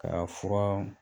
Ka fura